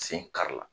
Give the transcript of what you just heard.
Sen kari la